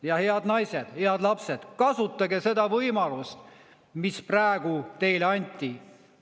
Ja head naised, head lapsed, kasutage seda võimalust, mis praegu teile anti!